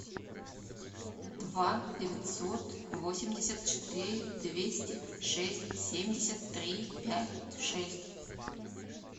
два девятьсот восемьдесят четыре двести шесть семьдесят три пять шесть